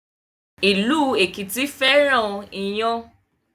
Ilu Ekiti féràn iyán